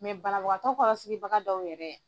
banabagatɔ kɔrɔ sigibaga dɔw yɛrɛ.